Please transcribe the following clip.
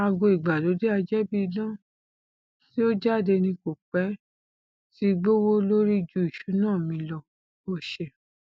aago ìgbálódé ajẹbíidán tí ó jáde ní kò pẹ tí gbówó lórí ju ìṣúná mi lọ ó ṣe